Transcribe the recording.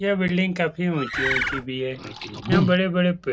यह बिल्डिंग काफी ऊँची - ऊँची भी है। यहाँ बड़े - बड़े पेड़ --